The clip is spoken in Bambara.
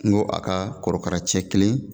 N ko a ka kɔrɔkara cɛ kelen